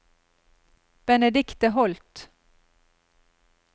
Benedikte Holth